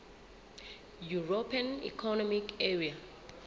european economic area